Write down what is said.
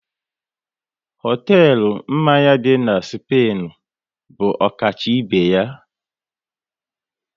Hotelu mmanya dị na Spainu bụ ọkacha ibe ya